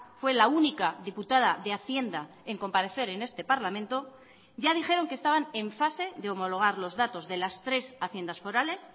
fue la única diputada de hacienda en comparecer en este parlamento ya dijeron que estaban en fase de homologar los datos de las tres haciendas forales